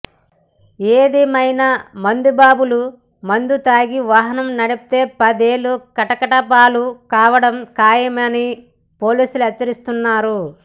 ఏదేమైనా మందుబాబులు మందు తాగి వాహనం నడిపితే పదేళ్లు కటకటాలపాలు కావడం ఖాయమని పోలీసులు హెచ్చరిస్తున్నారు